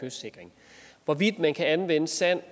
kystsikring hvorvidt man kan anvende sand